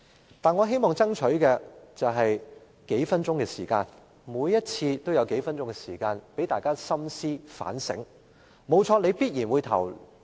然而，我希望爭取多數分鐘時間，在每次點名表決前讓議員深思反省。